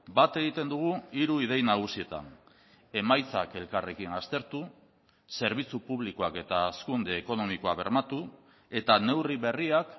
bat egiten dugu hiru idei nagusietan emaitzak elkarrekin aztertu zerbitzu publikoak eta hazkunde ekonomikoa bermatu eta neurri berriak